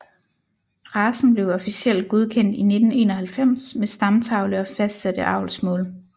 Racen blev officielt godkendt i 1991 med stamtavle og fastsatte avlsmål